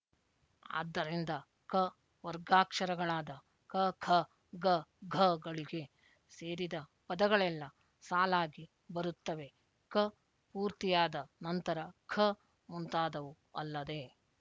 ಆದ್ದರಿಂದ ಕ ವರ್ಗಾಕ್ಷರಗಳಾದ ಕ ಖ ಗ ಘ ಗಳಿಗೆ ಸೇರಿದ ಪದಗಳೆಲ್ಲ ಸಾಲಾಗಿ ಬರುತ್ತವೆಕ ಪೂರ್ತಿಯಾದ ನಂತರ ಖ ಮುಂತಾದವು ಅಲ್ಲದೆ